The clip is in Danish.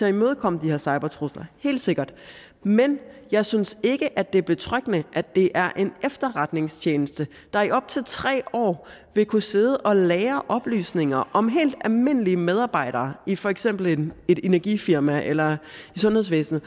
at imødekomme de her cybertrusler helt sikkert men jeg synes ikke at det er betryggende at det er en efterretningstjeneste der i op til tre år vil kunne sidde og lagre oplysninger om helt almindelige medarbejdere i for eksempel et energifirma eller i sundhedsvæsnet